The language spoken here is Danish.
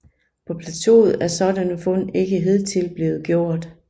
På plateauet er sådanne fund ikke hidtil blevet gjort